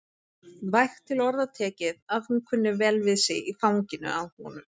Vægt til orða tekið að hún kunni vel við sig í fanginu á honum.